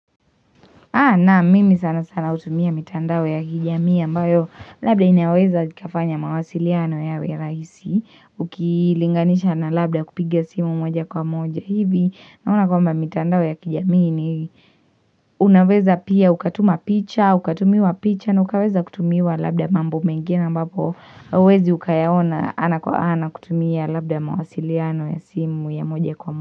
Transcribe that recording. Na mimi sana sana hutumia mitandao ya kijamii ambayo labda inaweza ikafanya mawasiliano yawe raisi Ukilinganisha na labda kupigia simu moja kwa moja hivi Naona kwamba mitandao ya kijamii ni unaweza pia ukatuma picha, ukatumiwa picha na ukaweza kutumiwa labda mambo mengine ambapo uwezi ukayaona ana kwa ana kutumia labda mawasiliano ya simu ya moja kwa moja.